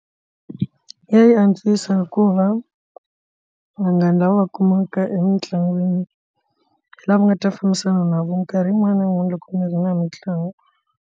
Ya yi antswisa hikuva vanghana lava va kumaka emitlangwini lava nga ta fambisana na vo minkarhi yin'wana na yin'wana loko ni ri na mitlangu.